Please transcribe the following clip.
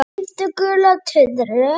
Gríp gula tuðru.